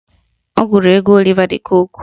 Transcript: Ọ gụrụ egwu Oliva d Kokwe